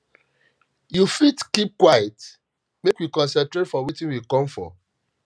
you fit keep quite make we concentrate for wetin we come for